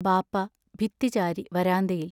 ബാപ്പാ ഭിത്തി ചാരി വരാന്തയിൽ.